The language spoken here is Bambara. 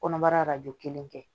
Kɔnɔbara arajo kelen kɛ